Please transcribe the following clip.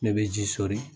Ne bɛ ji soli